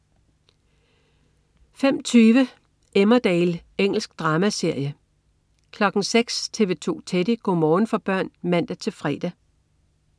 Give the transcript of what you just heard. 05.20 Emmerdale. Engelsk dramaserie 06.00 TV 2 Teddy. Go' morgen for børn (man-fre)